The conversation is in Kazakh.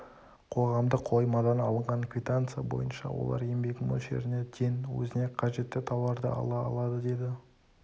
қоғамдық қоймадан алынған квитанция бойынша олар еңбек мөлшеріне тең өзіне қажетті тауарды ала алады деді